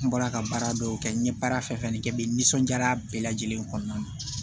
N bɔra ka baara dɔw kɛ n ye baara fɛn fɛn kɛ n bɛ n nisɔndiyara bɛɛ lajɛlen kɔnɔna na